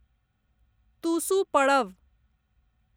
तुसु पड़ब